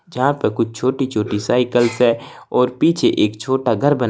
यहां पे कुछ छोटी छोटी साइकल्स है और पीछे एक छोटा घर बन--